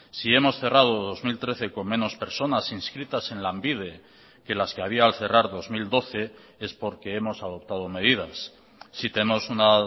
si hemos cerrado dos mil trece con menos personas inscritas en lanbide que las que había al cerrar dos mil doce es porque hemos adoptado medidas si tenemos una